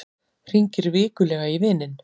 Hringir vikulega í vininn